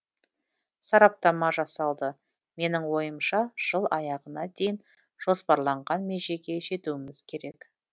сараптама жасалды менің ойымша жыл аяғына дейін жоспарланған межеге жетуіміз керек